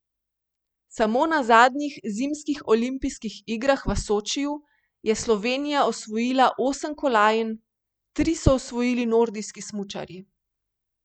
Samo na zadnjih zimskih olimpijskih igrah v Sočiju je Slovenija osvojila osem kolajn, tri so osvojili nordijski smučarji.